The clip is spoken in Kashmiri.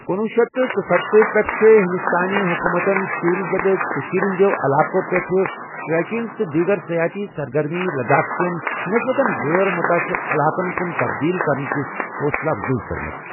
کنۄہ شیتھ تہٕ ژُستَتھ پیٹھہٕ چھے٘ ، ہندوستانہِ حکومتن شوُرِش زدٕ کشیرِ ہندیو علاقو٘ پیٹھہٕ ٹریکِنگ تہٕ دیگر سیاحتی سرگرمی لداخ کین نسبتاً غیر مُتاثرعلاقن كُن تبدیل کرنٕچہِ حوصلہ افزائی كٕرمٕژ ۔